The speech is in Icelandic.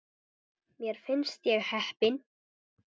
Mér finnst ég heppin.